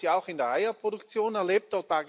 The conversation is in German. Wir haben das ja auch in der Eierproduktion erlebt.